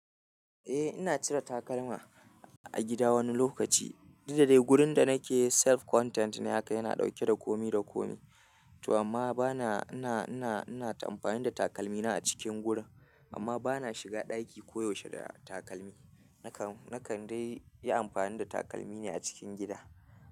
Eh ina cire takalma a gida wani lokaci, duk da dai wurin da nake self-content ne haka yana ɗauke da komi da komi. To amma bana ina, ina, ina amfani da takalmina a cikin gurin, amma bana shiga ɗaki koyaushe da takalmi. Nakan, nakan dai yi amfani da takalmi ne a cikin gida.